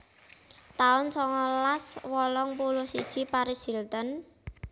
taun songolas wolung puluh siji Paris Hilton